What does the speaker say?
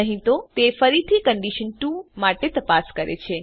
નહી તો તે ફરીથી કન્ડિશન 2 માટે તપાસ કરે છે